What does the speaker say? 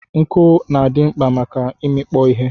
Nku na adi mkpa na imikpo ihe.